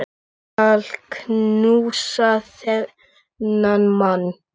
Ég skal knúsa þennan mann!